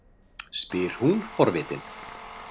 spyr hún forvitin.